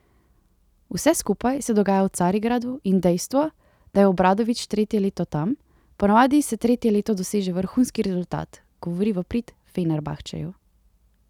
Vse skupaj se dogaja v Carigradu in dejstvo, da je Obradović tretje leto tam, ponavadi se tretje leto doseže vrhunski rezultat, govori v prid Fenerbahčeju.